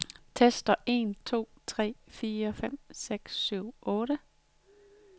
Tester en to tre fire fem seks syv otte.